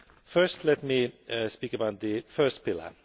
First let me speak about the first pillar.